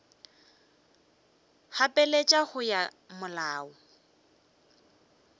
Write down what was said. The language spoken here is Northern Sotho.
gapeletša go ya ka molao